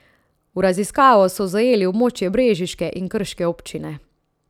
V raziskavo so zajeli območje brežiške in krške občine.